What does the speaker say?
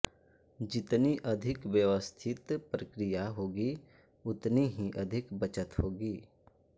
जितनी अधिक व्यवस्थित प्रक्रिया होगी उतनी ही अधिक बचत होगी